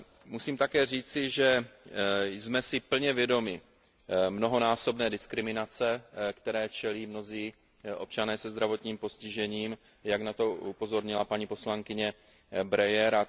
Musím také říci, že jsme si plně vědomi mnohonásobné diskriminace, které čelí mnozí občané se zdravotním postižením, jak na to upozornila paní poslankyně Breyerová.